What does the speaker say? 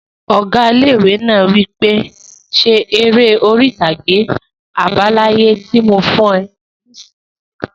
Ọgá ilé-ìwé náà wí pé 'Ṣe eré orí-ìtàgé àbá láyé tí mo fún ọ nisinyi!